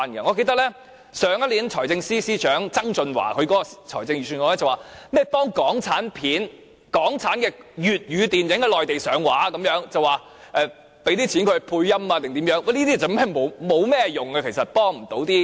我記得去年前財政司司長曾俊華在財政預算案中，提到會協助港產片及港產粵語電影在內地上畫，提供資金讓他們配音等，這其實是無甚用處，幫不上忙的。